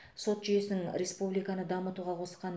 сот жүйесінің республиканы дамытуға қосқан